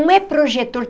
Não é projetor.